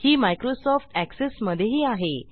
ही Microsoft Access मधेही आहे